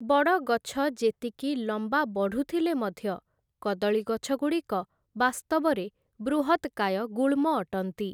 ବଡ଼ ଗଛ ଯେତିକି ଲମ୍ବା ବଢ଼ୁଥିଲେ ମଧ୍ୟ କଦଳୀଗଛଗୁଡ଼ିକ ବାସ୍ତବରେ ବୃହତ୍‌କାୟ ଗୁଳ୍ମ ଅଟନ୍ତି ।